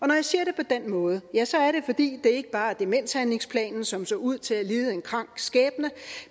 jeg siger det på den måde ja så er det fordi det ikke bare er demenshandlingsplanen som så ud til at lide en krank skæbne